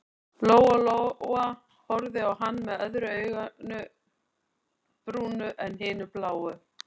Lóa-Lóa horfði á hann með öðru auganu brúnu en hinu bláu.